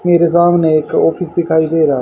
मेरा सामने एक ऑफिस दिखाई दे रहा--